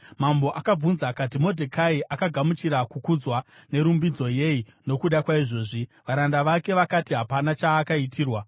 Mambo akabvunza akati, “Modhekai akagamuchira kukudzwa nerumbidzo yei nokuda kwaizvozvi.” Varanda vake vakati, “Hapana chaakaitirwa.”